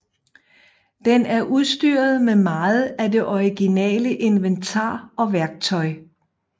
Den er udstyret med meget af det originale inventar og værktøj